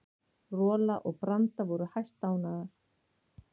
Rola og Branda voru hæstánægðar.